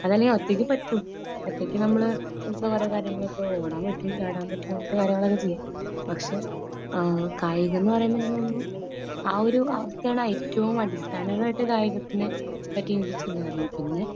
അതല്ലെങ്കിൽ ഒറ്റയ്ക്ക് പറ്റും . ഒറ്റയ്ക്ക് നമ്മള് എന്താ പറയാ നമ്മള് ഇപ്പോ കാര്യങ്ങൾ ഓടാൻ പറ്റും ചാടാൻ പറ്റും അങ്ങനത്തെ കാര്യങ്ങൾ ഒക്കെ ചെയ്യാം . പക്ഷേ കായികം എന്ന് പറയുന്നുണ്ടെങ്കിൽ എനിക്ക് തോന്നുന്നു ആ ഒരു ഏറ്റവും അടിസ്ഥാനപരമായിട്ട് കായികത്തിനെ